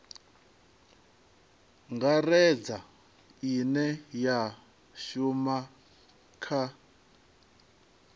ngaredza ine ya shuma kha